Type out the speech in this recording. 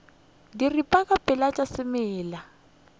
diripa ka moka tša semela